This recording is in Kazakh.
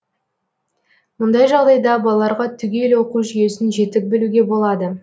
мұндай жағдайда балаларға түгел оқу жүйесін жетік білуге болады